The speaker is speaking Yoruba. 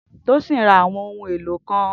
Tosin ra àwọn ohun èlò kan